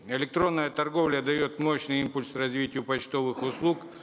электронная торговля дает мощный импульс развитию почтовых услуг